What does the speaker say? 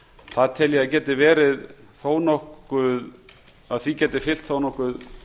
það tel ég að því geti fylgt þó nokkuð